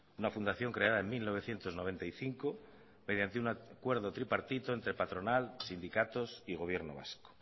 una fundación creada en mil novecientos noventa y cinco mediante un acuerdo tripartito entre patronal sindicatos y gobierno vasco